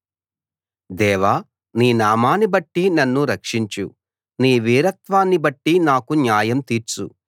దేవా నీ నామాన్నిబట్టి నన్ను రక్షించు నీ వీరత్వాన్ని బట్టి నాకు న్యాయం తీర్చు